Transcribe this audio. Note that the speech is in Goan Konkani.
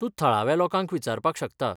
तूं थळाव्या लोकांक विचारपाक शकता.